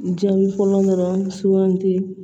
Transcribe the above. Jaabi fɔlɔ dɔrɔn sugandi